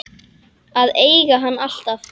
Að eiga hann alltaf.